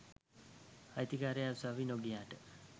අයිතිකාරයා උසාවි නොගියට